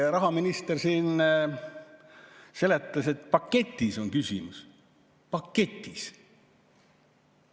Rahaminister siin seletas, et paketis on küsimus – paketis!